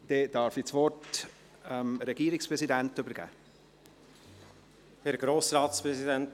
Dann darf ich das Wort an den Regierungspräsidenten übergeben.